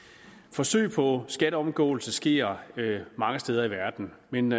forsøg på skatteomgåelse sker mange steder i verden men